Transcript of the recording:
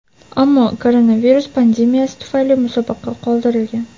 Ammo koronavirus pandemiyasi tufayli musobaqa qoldirilgan.